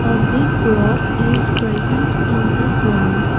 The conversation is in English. a big rock is present in the ground.